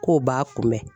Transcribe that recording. K'o b'a kunbɛ